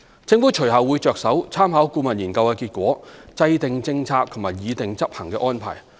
政府隨後會着手參考顧問研究的結果，制訂政策及擬訂執行安排。